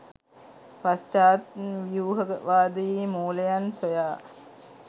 පශ්චාත් ව්‍යූහවාදයේ මූලයන් සොයා